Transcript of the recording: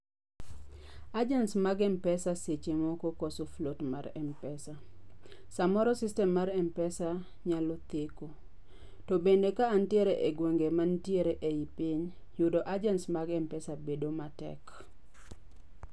Agents mag Mpesa seche moko koso float mar Mpesa. Samoro system mar Mpesa nyalo theko. To bende ka antiere e gwenge mantiere ei piny, yudo agents mag Mpesa bedo matek